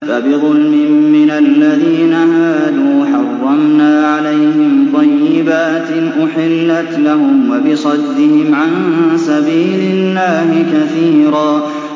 فَبِظُلْمٍ مِّنَ الَّذِينَ هَادُوا حَرَّمْنَا عَلَيْهِمْ طَيِّبَاتٍ أُحِلَّتْ لَهُمْ وَبِصَدِّهِمْ عَن سَبِيلِ اللَّهِ كَثِيرًا